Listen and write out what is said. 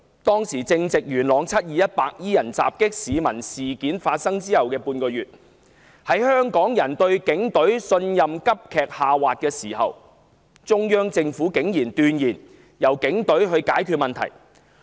當時正值元朗"七二一"白衣人襲擊市民事件發生後的半個月，在香港人對警隊的信任急劇下滑之際，中央政府竟然斷言由警隊解決問題。